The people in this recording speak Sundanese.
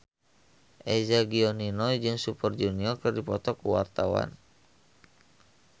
Eza Gionino jeung Super Junior keur dipoto ku wartawan